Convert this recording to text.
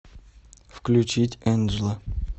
включить энджла